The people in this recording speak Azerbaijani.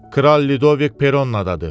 Kral Lidovik Peronnadadı.